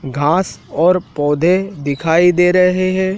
घास और पौधे दिखाई दे रहे हैं।